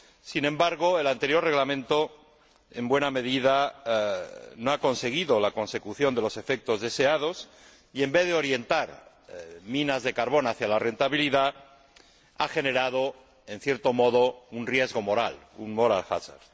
Sin embargo, el anterior Reglamento en buena medida no ha conseguido la consecución de los efectos deseados y, en vez de orientar las minas de carbón hacia la rentabilidad, ha generado, en cierto modo, un riesgo moral, un moral hazard